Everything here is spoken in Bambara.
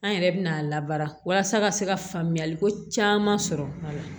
An yɛrɛ bɛna a labaara ka se ka faamuyali ko caman sɔrɔ a la